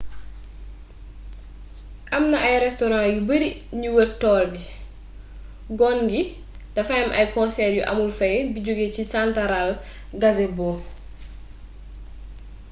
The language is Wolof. amna ay restoran yu beri ñi wër toll bi gon gi dafay am ay konseer yu amul fay bi joge ci santaraal gazebo